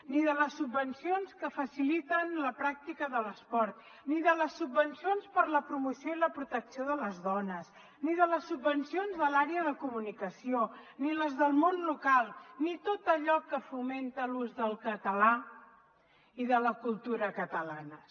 ni de les subvencions que faciliten la pràctica de l’esport ni de les subvencions per a la promoció i la protecció de les dones ni de les subvencions de l’àrea de comunicació ni les del món local ni tot allò que fomenta l’ús del català i de la cultura catalanes